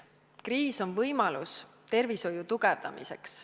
Kriis on võimalus tervishoiu tugevdamiseks.